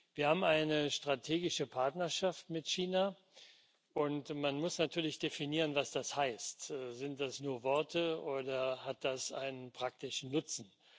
Wir haben eine strategische Partnerschaft mit China, und man muss natürlich definieren, was das heißt. Sind das nur Worte oder hat das einen praktischen Nutzen?